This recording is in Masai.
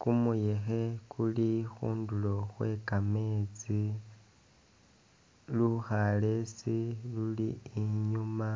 kumuyekhe kuli khundulo khwe kametsi lukhalesi luli inyuma